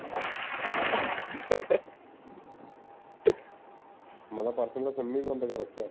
ਮੈਂ ਤਾਂ ਪਰਸੋਂ ਦਾ sim ਹੀ ਬੰਦ ਕਰ ਰੱਖਿਆ